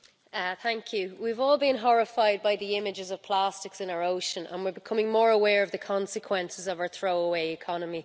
Mr President, we've all been horrified by the images of plastics in our ocean and we're becoming more aware of the consequences of our throw-away economy.